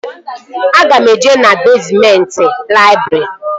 Aga m eje na bezmenti laịbrị